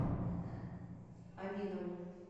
аминову